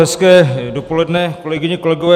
Hezké dopoledne, kolegyně, kolegové.